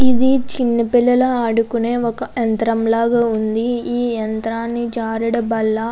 ఇది చిన్న పిల్లలు ఆదుకునే ఒక యంత్రం ల ఉంది. ఈ యంత్రాన్ని జారుడు బల్ల --